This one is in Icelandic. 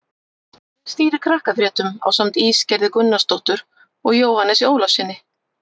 Hver stýrir Krakkafréttum ásamt Ísgerði Gunnarsdóttur og Jóhannesi Ólafssyni?